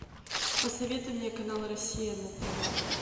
посоветуй мне канал россия на тв